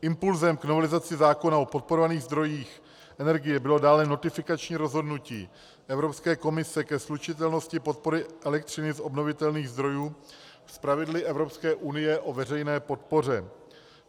Impulsem k novelizaci zákona o podporovaných zdrojích energie bylo dále notifikační rozhodnutí Evropské komise ke slučitelnosti podpory elektřiny z obnovitelných zdrojů s pravidly Evropské unie o veřejné podpoře.